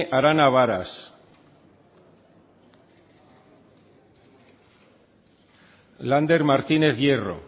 arana varas sartu da lander martínez hierro